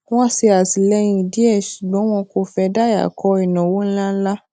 wọn ṣè àtìlẹyìn díẹ ṣùgbọn wọn kò fẹ dayako inawo ńláńlá